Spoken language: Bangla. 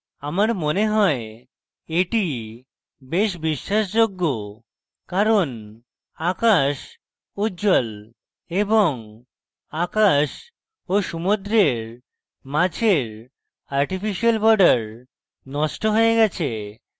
আমার মনে হয় এটি বেশ বিশ্বাসযোগ্য কারণ আকাশ উজ্জ্বল এবং আকাশ ও সমুদ্রের মাঝের artificial border নষ্ট হয়ে গেছে